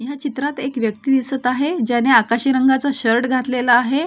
ह्या चित्रात एक व्यक्ति दिसत आहे ज्यांनी आकाशी रंगाचा शर्ट घातलेला आहे.